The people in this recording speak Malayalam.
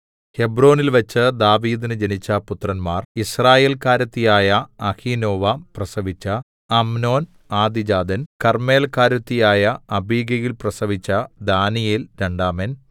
ഹെബ്രോനിൽവച്ച് ദാവീദിന് ജനിച്ച പുത്രന്മാർ യിസ്രയേൽക്കാരത്തിയായ അഹീനോവാം പ്രസവിച്ച അമ്നോൻ ആദ്യജാതൻ കർമ്മേല്ക്കാരത്തിയായ അബിഗയിൽ പ്രസവിച്ച ദാനീയേൽ രണ്ടാമൻ